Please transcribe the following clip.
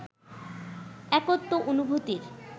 একত্ব অনুভূতির